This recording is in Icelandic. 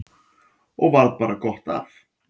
Og varð bara gott af.